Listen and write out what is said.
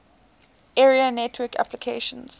area network applications